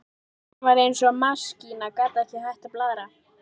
Hún var eins og maskína, gat ekki hætt að blaðra.